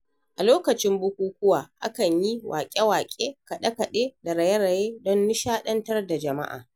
A lokacin bukukuwa, akan yi waƙe-waƙe, kaɗe-kaɗe da raye-raye don nishadantar da jama'a.